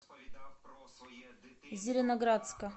зеленоградска